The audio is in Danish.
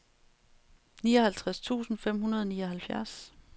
nioghalvtreds tusind fem hundrede og nioghalvfjerds